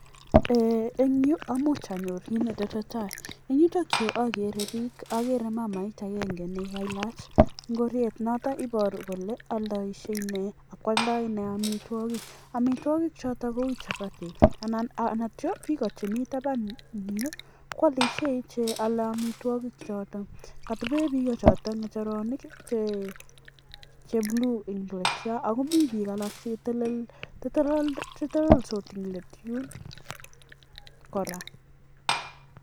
eng yuu komuch anyor kii netesetai amuch aro mama nemitei yuu nemitei koaldaii ingoraiik koraa